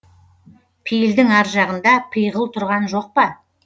пейілдің аржағында пиғыл тұрған жоқ па